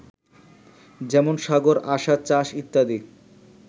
যেমন সাগর, আসা, চাষ, ইত্যাদি